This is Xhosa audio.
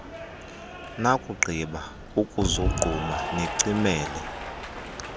nakugqiba ukuzogquma nicimele